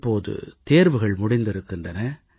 இப்போது தேர்வுகள் முடிந்திருக்கின்றன